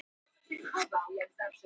Telja sig dauðadæmda